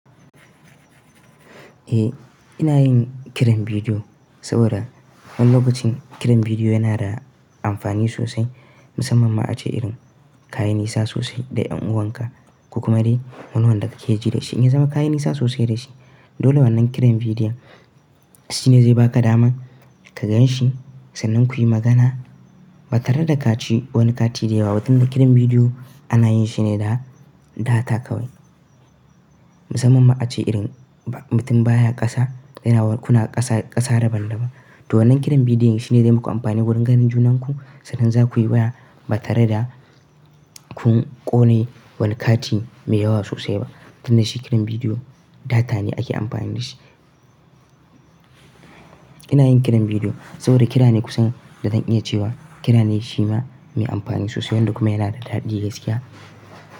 Eh, ina yin kiran bidiyo saboda wani lokacin kiran bidiyo yana da amfani sosai, musamman ma ace irin kayi nisa sosai da ƴan uwanka, ku kuma dai wanda kake ji da shi in ya zama kayi nisa sosai da shi. Dole wannan kiran bidiyon shine zai baka dama ka gan shi sannan kuyi magana ba tare da kaci wani kati da yawa ba. Tun da kiran bidiyo anayin shi ne da data kawai. Musamman ma ace irin mutum baya ƙasa yana kuna ƙasa, ƙasa daban-daban. To wannan kiran bidiyon shine zai muku amfani wurin ganin junanku sannan za kuyi waya ba tare da kun ƙone wani kati mai yawa sosai ba. Tun da shi kiran bidiyo data ne ake amfani da shi. Ina yin kiran bidiyo saboda kira ne kusan da zan iya cewa kira ne shi ma mai amfani sosai wanda kuma yana da daɗi gaskiya.